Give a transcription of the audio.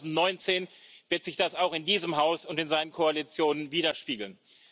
Ab 2019 wird sich das auch in diesem Haus und in seinen Koalitionen widerspiegeln.